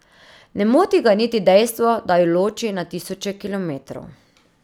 Ne moti ga niti dejstvo, da ju loči na tisoče kilometrov.